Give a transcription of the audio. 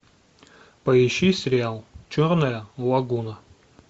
поищи сериал черная лагуна